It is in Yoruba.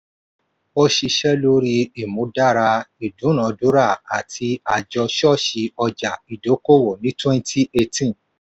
ó ṣiṣẹ́ lori ìmúdára ìdúnadúrà àti àjọ-ṣọ́ọ̀ṣì ọjà-ìdókòwò ní twenty eighteen.